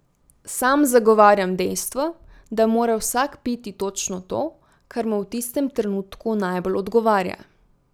Sam zagovarjam dejstvo, da mora vsak piti točno to, kar mu v tistem trenutku najbolj odgovarja.